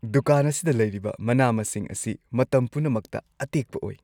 ꯗꯨꯀꯥꯟ ꯑꯁꯤꯗ ꯂꯩꯔꯤꯕ ꯃꯅꯥ-ꯃꯁꯤꯡ ꯑꯁꯤ ꯃꯇꯝ ꯄꯨꯝꯅꯃꯛꯇ ꯑꯇꯦꯛꯄ ꯑꯣꯏ꯫